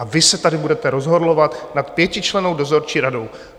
A vy se tady budete rozhorlovat nad pětičlennou dozorčí radou.